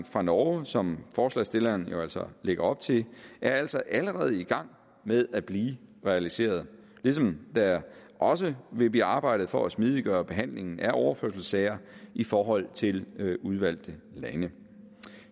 fra norge som forslagsstilleren altså lægger op til er altså allerede i gang med at blive realiseret ligesom der også vil blive arbejdet for at smidiggøre behandlingen af overførselssager i forhold til udvalgte lande